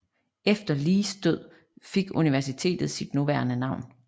Efter Lees død fik universitetet sit nuværende navn